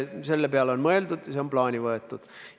Selle peale on mõeldud, see on plaani võetud.